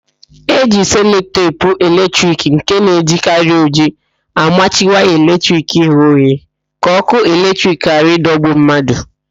E ji selotepu eletrik nke na-ejikarị ojii amachi waya eletrik ghe oghe ka ókụ́ eletrik ghara ịdọgbu mmadụ.